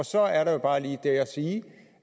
så er der jo bare lige det at sige